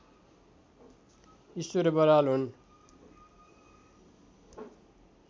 ईश्वर बराल हुन्